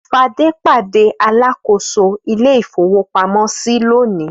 Fadé pàdé alákòóso ilé-ìfowópamọ́sí lónìí.